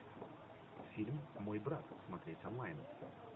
фильм мой брат смотреть онлайн